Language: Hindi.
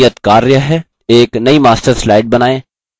एक नयी master slide बनाएँ